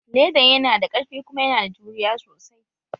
Ledan yana da ƙarfi kuma yana da juriya sosai